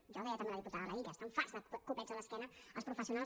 això també ho deia la diputada laïlla estan farts de copets a l’esquena els professionals